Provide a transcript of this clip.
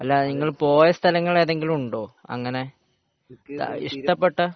അല്ല നിങ്ങൾ പോയ സ്ഥലങ്ങൾ ഏതെങ്കിലും ഉണ്ടോ ഇഷ്ടപെട്ടത്